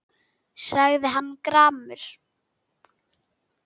sagði hann gramur.